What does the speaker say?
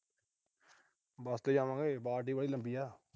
ਬਸ ਤੇ ਜਾਵਾਂਗੇ। ਵਾਟ ਈ ਵਾਹਲੀ ਲੰਬੀ ਆ।